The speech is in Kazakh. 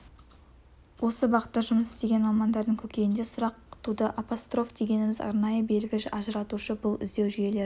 осы бағытта жұмыс істеген мамандардың көкейінде сұрақ туды апостроф дегеніміз арнайы белгі ажыратушы бұл іздеу жүйелерін